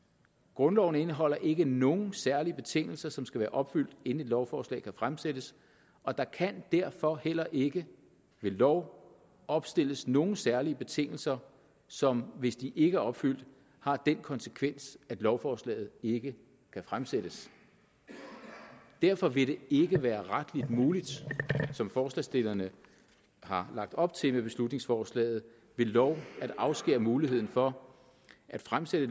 grundloven indeholder ikke nogen særlige betingelser som skal være opfyldt inden et lovforslag kan fremsættes og der kan derfor heller ikke ved lov opstilles nogen særlige betingelser som hvis de ikke er opfyldt har den konsekvens at lovforslaget ikke kan fremsættes derfor vil det ikke være retligt muligt som forslagsstillerne har lagt op til med beslutningsforslaget ved lov at afskære muligheden for at fremsætte